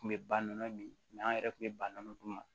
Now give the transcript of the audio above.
Kun bɛ ba nɔnɔ min an yɛrɛ kun bɛ ba nɔnɔ dun